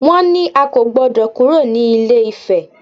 Wọ́n ní a kò gbọdọ̀ kúrò ní ilé-ifè!